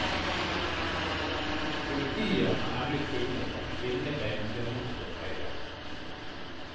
Politiet har nemlig funnet et kvinnebein ved motorveien.